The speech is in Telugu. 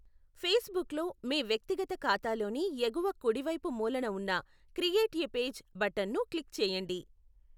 ఫేస్బుక్లో, మీ వ్యక్తిగత ఖాతాలోని ఎగువ కుడివైపు మూలన ఉన్న క్రియేట్ ఎ పేజ్ బటన్ను క్లిక్ చేయండి.